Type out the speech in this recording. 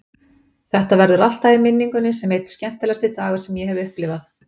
Þetta verður alltaf í minningunni sem einn skemmtilegasti dagur sem ég hef upplifað.